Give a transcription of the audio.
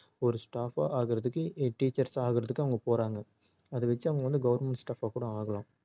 ஒரு staff ஆ ஆகுறதுக்கு teachers ஆகுறதுக்கு அவங்க போறாங்க அத வச்சிஅவங்களால government staff ஆ கூட ஆகலாம்